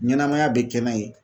Ɲɛnɛmaya be kɛ n'a ye